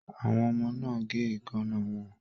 Àwọn ọmọ náà n gé eekanna wọn